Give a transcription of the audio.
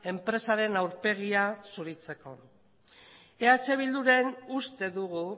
enpresaren aurpegia zuritzeko eh bildun uste dugu